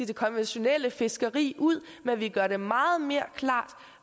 det konventionelle fiskeri ud men vi gør det meget mere klart